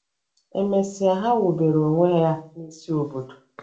E mesịa ha wubere onwe ya n'isi obodo.